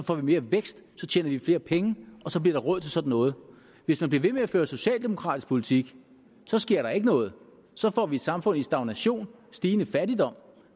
får vi mere vækst så tjener vi flere penge og så bliver der råd til sådan noget hvis man bliver ved med at føre socialdemokratisk politik sker der ikke noget så får vi et samfund i stagnation og stigende fattigdom